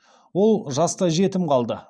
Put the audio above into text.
ол жастай жетім қалды